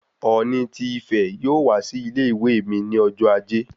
Oòni ti Ìfẹ yóò wá sí ilé-ìwé mí ní ọjọ ajé